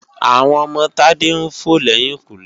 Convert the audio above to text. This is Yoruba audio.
Àwọn ọmọ Tádé ń fò lẹ́yìnkùnlé